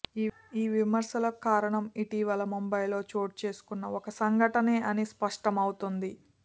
ఈ విమర్శలకు కారణం ఇటీవల ముంబైలో చోటు చేసుకున్న ఓ సంఘటనే అని స్పష్టమవుతోంది